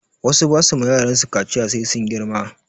Wasu ba su ma yaransu kaciya sai sun girma